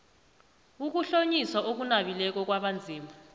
ukuhlonyiswa okunabileko kwabanzima